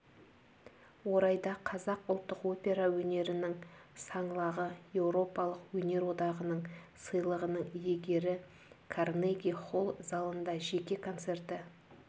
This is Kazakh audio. орайда қазақ ұлттық опера өнерінің саңлағы еуропалық өнер одағының сыйлығының иегері карнеги-холл залында жеке концерті